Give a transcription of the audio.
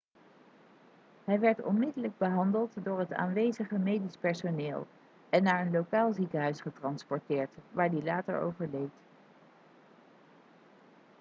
hij werd onmiddellijk behandeld door het aanwezige medisch personeel en naar een lokaal ziekenhuis getransporteerd waar hij later overleed